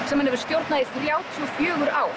sem hann hefur stjórnað í þrjátíu og fjögur ár